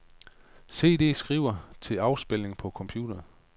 CD skive til afspilning på computer.